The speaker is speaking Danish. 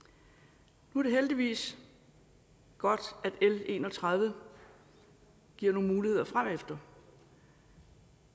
nu er det heldigvis godt at l en og tredive giver nogle muligheder fremefter